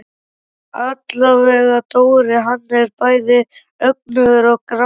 Allavega Dóri, hann er bæði önugur og gramur.